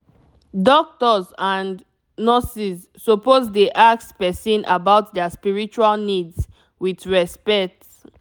doctors and nurses suppose dey ask person about their spiritual needs with respect